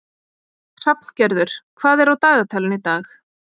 Hrafngerður, hvað er á dagatalinu í dag?